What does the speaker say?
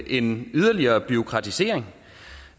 en yderligere bureaukratisering